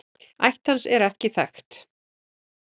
Ætt hans er ekki þekkt.